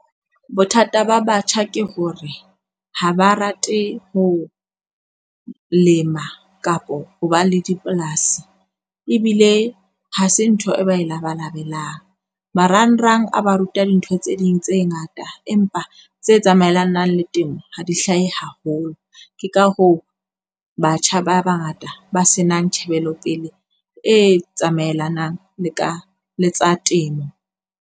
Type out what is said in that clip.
Bothata ba batjha ke hore ha ba rate ho lema kapo ho ba le dipolasi ebile ha se ntho e ba e labalabelang. Marangrang a ba ruta dintho tse ding tse ngata, empa tse tsamaelanang le temo ha di hlahe haholo. Ke ka hoo batjha ba bangata ba senang tjhebelopele e tsamaelanang le ka le tsa temo.